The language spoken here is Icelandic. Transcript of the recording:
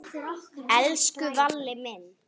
Elsku Valli minn.